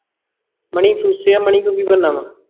ਮਣੀ ਫੂਸ ਆ ਉਹਦੇ ਕੋਲੋਂ ਕੀ ਬਣ ਨਾ ਆਂ